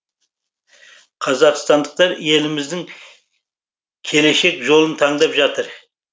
қазақстандықтар еліміздің келешек жолын таңдап жатыр